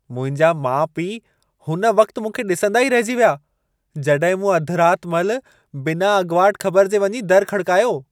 मुंहिंजा माउ पीउ हुन वक़्त मूंखे ॾिसंदा ई रहिजी विया, जॾहिं मूं अधि राति महिल बिना अॻुवाट ख़बर जे वञी दरु खड़िकायो।